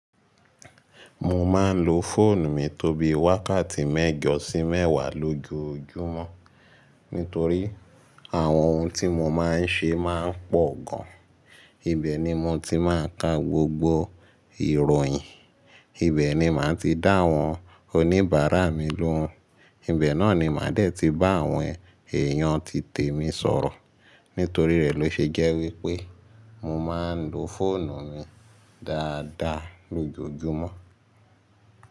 Mo máa ń lo fóònù mi tó bí wákàtí mẹ́jọ sí mẹ́wàá lójoojúmọ́ nítorí àwọn ohun tí mo máa ń ṣe máa ń pọ̀ gan. Ibẹ̀ ni mo ti máa ń ka gbogbo ìròyìn, ibẹ̀ ni màá ti dá àwọn oníbàárà mi lóhùn, ibẹ̀ náà ni màá dé ti bá àwọn èèyàn ti tèmi sọ̀rọ̀. Nítorí rẹ̀ ló ṣe jẹ́ wípé mo máa ń lo fóònù mi dáadáa lójoojúmọ́.